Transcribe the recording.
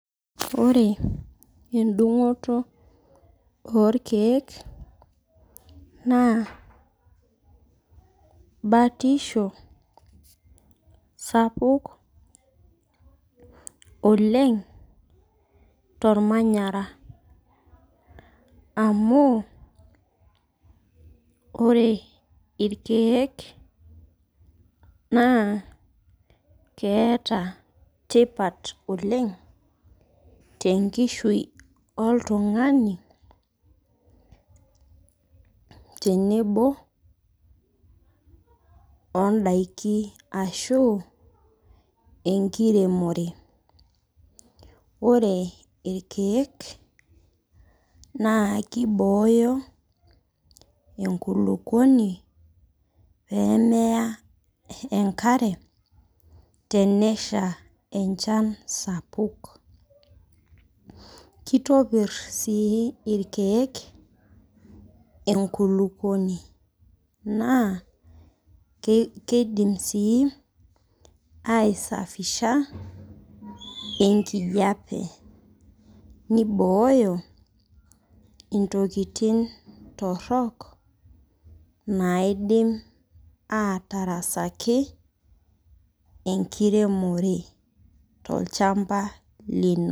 Ore endung'oto orkeek naa batisho sapuk oleng' tormanyara amu ore irkeek naa keeta tipat oleng' tenkishui oltung'ani tenebo ondaiki ashu enkiremore, ore irkeek naa kibooyo enkulukuoni pee meya enkare enesha enchan sapuk kitopirr sii irkeek enkulukuoni naa keidim sii aisafisha enkijiape nibooyo intokitin torrok naidim aatarasaki enkiremore tolchamba lino.